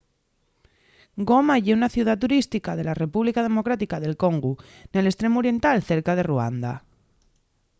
goma ye una ciudá turística de la república democrática d’el congu nel estremu oriental cerca de ruanda